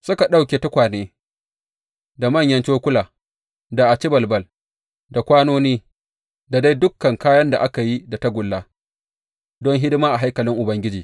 Suka ɗauke tukwane, da manyan cokula, da acibalbal, da kwanoni, da dai dukan kayan da aka yi da tagulla don hidima a haikalin Ubangiji.